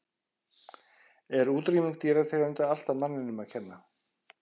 Er útrýming dýrategunda alltaf manninum að kenna?